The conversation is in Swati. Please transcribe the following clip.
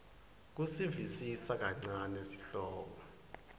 kusivisisa kancane sihloko